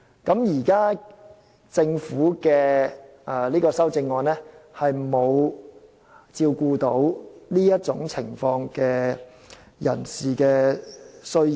現時政府的修正案沒有照顧這種情況下的人士的需要。